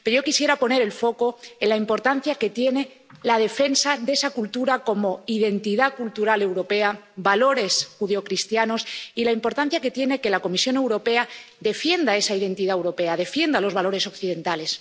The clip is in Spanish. Pero yo quisiera poner el foco en la importancia que tiene la defensa de esa cultura como identidad cultural europea, como valores judeocristianos, y en la importancia que tiene que la Comisión Europea defienda esa identidad europea, defienda los valores occidentales.